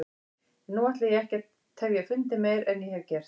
En nú ætla ég ekki að tefja fundinn meir en ég hef gert.